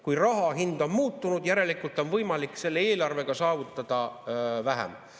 Kui raha hind on muutunud, järelikult on võimalik selle eelarvega saavutada vähem.